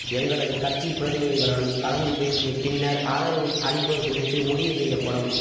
எங்களது கட்சி பிரதிநிதிகளுடன் கலந்து பேசிய பின்னர் ஆதரவு அளிப்பது குறித்து முடிவு செய்யப்படும்